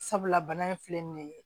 Sabula bana in filɛ nin ye